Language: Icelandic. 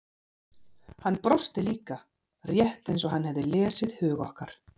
Hann brosti líka, rétt eins og hann hefði lesið hug okkar.